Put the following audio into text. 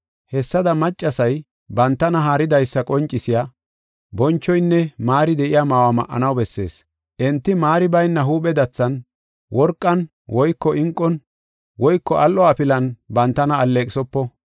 Hessada maccasay bantana haaridaysa qoncisiya, bonchoynne maari de7iya ma7uwa ma7anaw bessees. Enti maari bayna huuphe dathan, worqan woyko inqon, woyko al7o afilan bantana alleeqisopo.